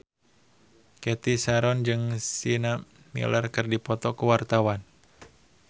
Cathy Sharon jeung Sienna Miller keur dipoto ku wartawan